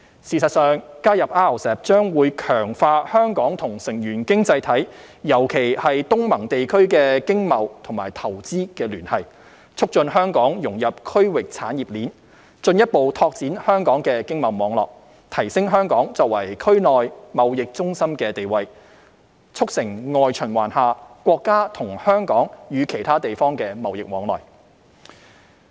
事實上，加入 RCEP 將會強化香港與成員經濟體，尤其是東盟地區的經貿與投資聯繫，促進香港融入區域產業鏈，進一步拓展香港的經貿網絡，提升香港作為區內貿易中心的地位，促成外循環下國家及香港與其他地方的貿易往來。